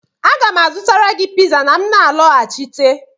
Aga m azụtara gị piza ma m na-alọghachite